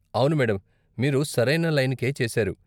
అవును, మేడం. మీరు సరైన లైనుకే చేశారు.